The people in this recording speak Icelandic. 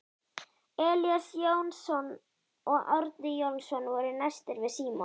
Elías Jónsson og Árni Jónsson voru næstir við Símon.